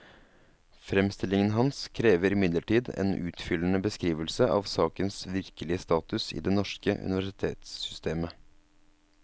Fremstillingen hans krever imidlertid en utfyllende beskrivelse av sakens virkelige status i det norske universitetssystemet.